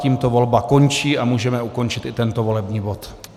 Tímto volba končí a můžeme ukončit i tento volební bod.